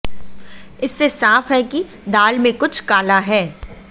इससे साफ है कि दाल में कुछ काला है